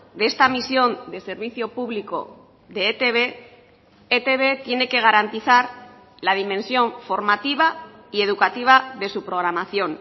de esta misión de servicio público de etb etb tiene que garantizar la dimensión formativa y educativa de su programación